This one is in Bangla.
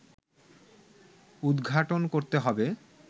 উদঘাটন করতে হবে